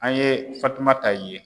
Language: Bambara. An ye Fatumata ye.